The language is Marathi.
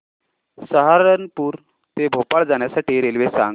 सहारनपुर ते भोपाळ जाण्यासाठी रेल्वे सांग